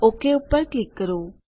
okay પર click કરો